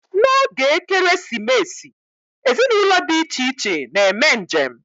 N'oge Ekeresimesi, ezinụlọ di iche iche na-eme njem.